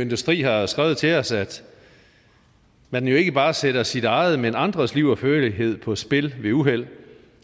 industri har skrevet til os at man jo ikke bare sætter sit eget men andres liv og førlighed på spil ved uheld